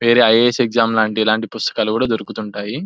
వేరే IAS. Exam లాంటి ఇలాంటి పుస్తకాలు కూడా దొరుకుతుంటాయి .